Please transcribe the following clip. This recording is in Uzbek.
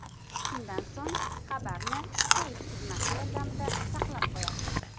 Shundan so‘ng xabarni Save tugmasi yordamida saqlab qo‘yasiz.